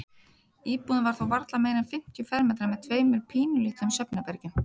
Íbúðin var þó varla meira en fimmtíu fermetrar með tveimur pínulitlum svefnherbergjum.